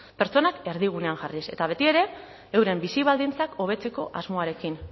pertsonak erdigunean jarriz eta betiere euren bizi baldintzak hobetzeko asmoarekin